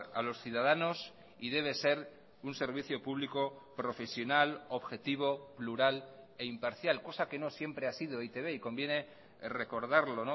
a los ciudadanos y debe ser un servicio público profesional objetivo plural e imparcial cosa que no siempre ha sido e i te be y conviene recordarlo